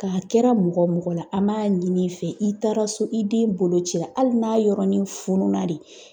K'a kɛra mɔgɔ mɔgɔ la an b'a ɲin'i fɛ i taara so i den bolo cira hali n'a yɔrɔnin fununna de